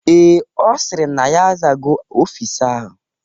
Ee, Ọ sịrị na ya azago ọfịs ahụ.